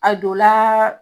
A dola.